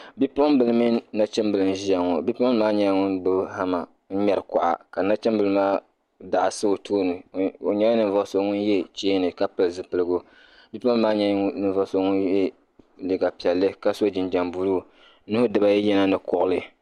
bipuɣimbila mini nachimbila n-ʒia ŋɔ bipuɣimbila maa nyɛla ŋun gbubi hama n-ŋmɛri kuɣa ka nachimbila maa daɣu sa o tooni o nyɛla ninvuɣ' so ŋun ye cheeni ka pili zipiligu bipuɣimbila maa nyɛla ninvuɣ' so ŋun ye liiga piɛlli ka so jinjam buluu nuhi dibaayi yina ni kuɣili